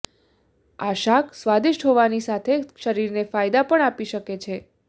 આ શાક સ્વાદિષ્ટ હોવાની સાથે શરીરને ફાયદા પણ આપી શકે છે